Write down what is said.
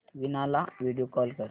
वीणा ला video call कर